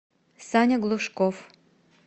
саня глушков